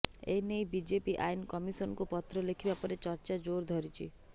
ଏ ନେଇ ବିଜେପି ଆଇନ କମିଶନକୁ ପତ୍ର ଲେଖିବା ପରେ ଚର୍ଚ୍ଚା ଜୋର ଧରିଛି